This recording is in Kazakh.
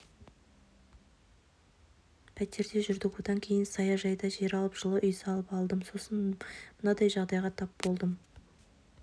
пәтерде жүрдік одан кейін саяжайдан жер алып жылы үй салып алдым сосын мынандай жағдайға тап болдым